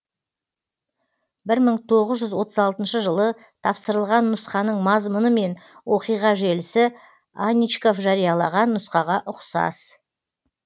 бірмың тоғызжүз отыз алтыншы жылы тапсырылған нұсқаның мазмұны мен оқиға желісі аничков жариялаған нұсқаға ұқсас